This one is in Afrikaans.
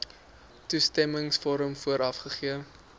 toestemmingsvorm vooraf gegee